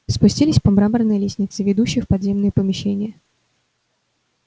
спустились по мраморной лестнице ведущей в подземные помещения